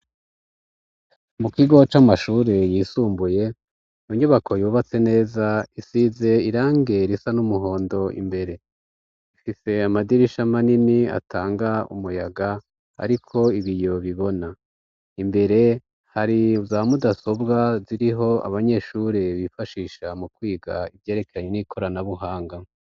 Mu kigo c'amashuri yisumbuye mu nyubako yubatse neza isize irangi risa n'umuhondo imbere ifise amadirisha manini atanga umuyaga ariko ibiyo bibona imbere hari zamudasobwa hariho abanyeshuri bifashisha mu kwiga ivyerekanye n'ikoranabuhanga.